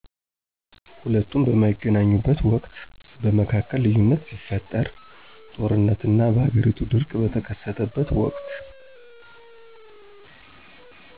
ሁለቱም በማይገናኙበት ወቅት በመካከል ልዩነት ሲፈጠር ጦርነት እና በሃገሪቱ ድርቅ ቀተከሰተበት ወቅት